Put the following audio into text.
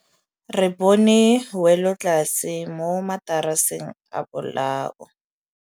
Re bone wêlôtlasê mo mataraseng a bolaô.